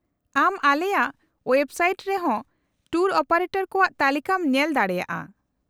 -ᱟᱢ ᱟᱞᱮᱭᱟᱜ ᱳᱭᱮᱵᱥᱟᱭᱮᱴ ᱨᱮ ᱦᱚᱸ ᱴᱩᱨ ᱚᱯᱟᱨᱮᱴᱚᱨ ᱠᱚᱣᱟᱜ ᱛᱟᱞᱤᱠᱟᱢ ᱧᱮᱞ ᱫᱟᱲᱮᱭᱟᱜᱼᱟ ᱾